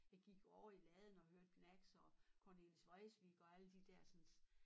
Jeg gik jo over i laden og hørte Gnags og Cornelis Vreeswijk og alle de dersens